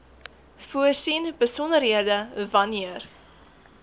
voorsien besonderhede wanneer